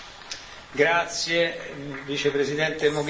Grazie Vicepresidente Mogherini.